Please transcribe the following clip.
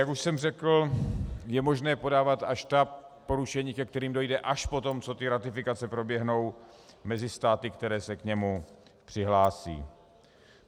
Jak už jsem řekl, je možné podávat až ta porušení, ke kterým dojde až po tom, co ratifikace proběhnou mezi státy, které se k němu přihlásí.